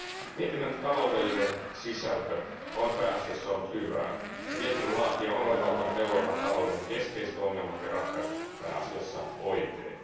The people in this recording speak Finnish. Mietinnön taloudellinen sisältö on pääasiassa ollut hyvää, ja mietinnön laatija on oivaltanut Euroopan talouden keskeiset ongelmat ja ratkaisut pääasiassa oikein.